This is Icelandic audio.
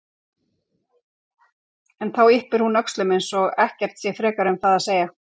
En þá yppir hún öxlum eins og ekkert sé frekar um það að segja.